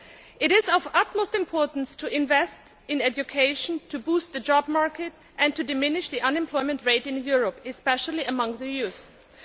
It is of utmost importance to invest in education to boost the job market and to reduce the unemployment rate in Europe, especially among young people.